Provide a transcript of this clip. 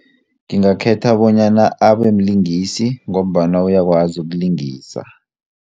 Ngingakhetha bonyana abemlingisi ngombana uyakwazi ukulingisa.